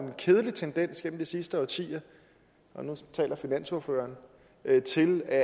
kedelig tendens igennem de sidste årtier og nu taler finansordføreren til at